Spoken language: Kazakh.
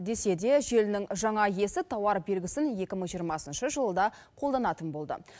десе де желінің жаңа иесі тауар белгісін екі мың жиырмасыншы жылы да қолданатын болды